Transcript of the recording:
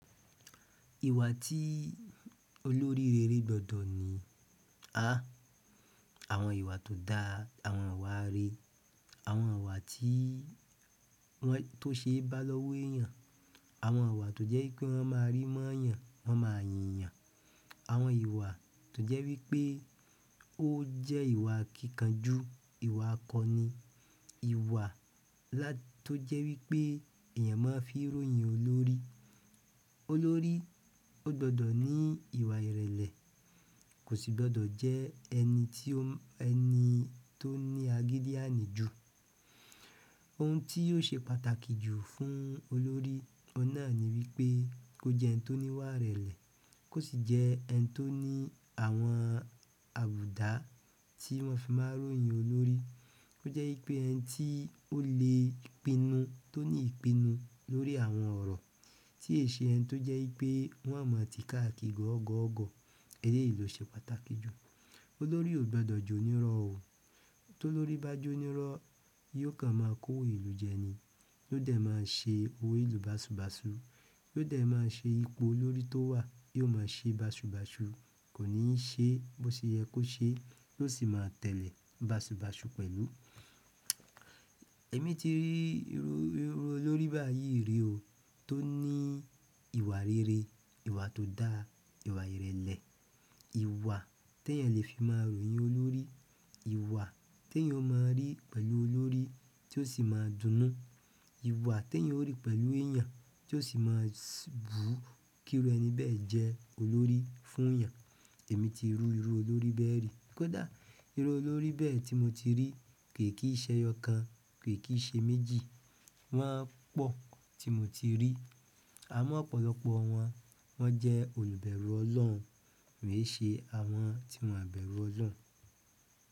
Ìwà tí olórí rere gbọdọ̀ ní. Àwọn ìwà tó da, àwọn ìwà rere, àwọn ìwà tí, tó ṣe bá lọ́wọ́ èèyàn, àwọn ìwà tó jẹ́ wipé wọ́n máa rí mọ́ yàn, wọ́n máa yìn yàn, àwọn ìwà tó jẹ́ wípé ó jẹ́ ìwà akíkànju ìwà akọni, ìwà tó jẹ́ wípé èèyàn máa fi ròyìn olórí. Olórí ó gbọdọ̀ ní ìwà ìrẹ̀lẹ̀, kò sì gbọdọ̀ jẹ́ ẹni tí ó ẹni tó ní agídí ànìjù. Ohun tí yóò ṣe pàtàkì jù fún olórí ọ̀nà ni wípé kó jẹ́ ẹni tó níwà ìrẹ̀lẹ̀, kó sì jẹ́ ẹni tó ní àwọn àbùdá tí wọ́n fi máa n ròyìn olórí. To je wípé ẹni to le pinu, to ni ipinu lórí àwọn oro ti o n se ẹni to je pe won maa ti káàkiri gogogo. Èlé yìí ló ṣe pàtàkì jù. Olórí ò gbọdọ̀ jó níró o. Tó lórí bá jó níró, yóò kàn máa kówo ìlú jẹni, yóò dẹ̀ máa ṣe owo ìlú báṣubàṣu, yóò dẹ̀ máa ṣe ipò olórí tó wà, yóò máa ṣe báṣubàṣu, kò ní ṣe bó ṣe yẹ kó ṣe, yóò sì máa tẹ̀lé báṣubàṣu pẹ̀lú. Imi ti, iru olórí báyìí n ri o to ni ìwà rere ìwà to daa, ìwà irele ìwà tí èèyàn lè fi máa ròyìn olórí, ìwà tí èèyàn ó máa rí pẹ̀lú olórí tí ó sì máa dunnú, ìwà tí èèyàn ó rí pẹ̀lú èèyàn tí ó sì máa bù kí irú ẹni bẹ́ẹ̀ jẹ́ olórí fún èèyàn. Èmi ti rí irú olórí bẹ́ẹ̀ rí. Kódà, iru olórí bẹ́ẹ̀ ti mo ti ri ko kin se eyookan, ko kin se méjì, won po ti mo ti ri amọ̀ ọ̀pọ̀lọpọ̀ wọn, wọ́n jẹ́ olùbẹ̀rù ọlọ́run, mi ò ṣe àwọn tí wọn bẹ̀rù ọlọ́run.